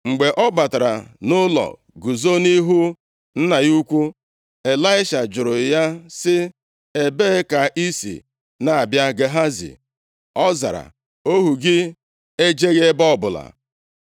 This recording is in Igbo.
Mgbe ọ batara nʼụlọ guzo nʼihu nna ya ukwu, Ịlaisha jụrụ ya sị, “Ebee ka i si na-abịa Gehazi?” Ọ zara, “Ohu gị ejeghị ebe ọbụla.”